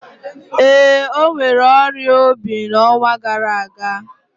Ee, o nwèrè ọrịa obi n'ọnwa gara aga